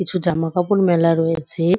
কিছু জামা কাপড় মেলা রয়েছে।